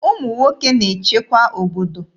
Ụmụ nwoke na-echekwa obodo.